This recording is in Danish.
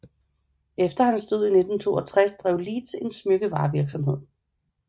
Efter hans død i 1962 drev Leeds en smykkevarevirksomhed